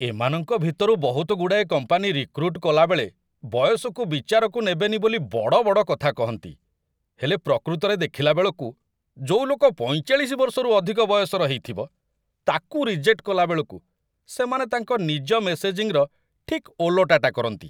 ଏମାନଙ୍କ ଭିତରୁ ବହୁତଗୁଡ଼ାଏ କମ୍ପାନି ରିକ୍ରୁଟ୍ କଲାବେଳେ ବୟସକୁ ବିଚାରକୁ ନେବେନି ବୋଲି ବଡ଼ ବଡ଼ କଥା କହନ୍ତି, ହେଲେ ପ୍ରକୃତରେ ଦେଖିଲା ବେଳକୁ, ଯୋଉ ଲୋକ ୪୫ ବର୍ଷରୁ ଅଧିକ ବୟସର ହେଇଥିବ, ତାକୁ ରିଜେକ୍ଟ କଲାବେଳକୁ ସେମାନେ ତାଙ୍କ ନିଜ ମେସେଜିଂର ଠିକ୍‌ ଓଲଟାଟା କରନ୍ତି ।